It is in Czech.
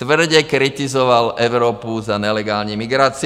Tvrdě kritizoval Evropu za nelegální migraci.